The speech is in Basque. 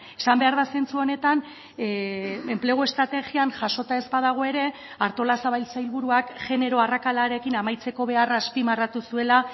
esan behar da zentzu honetan enplegu estrategian jasota ez badago ere artolazabal sailburuak genero arrakalarekin amaitzeko beharra azpimarratu zuela